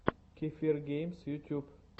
кефир геймс ютуб